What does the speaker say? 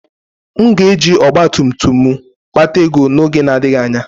M ga-eji ọgba tum tum m kpata ego n'oge na-adịghị anya.